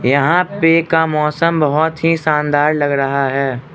यहां पे का मौसम बहोत ही शानदार लग रहा है।